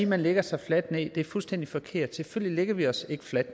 man lægger sig fladt ned er fuldstændig forkert selvfølgelig lægger vi os ikke fladt